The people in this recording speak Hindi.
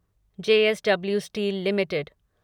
JSW steel limited